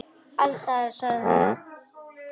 Alls staðar, sagði hann.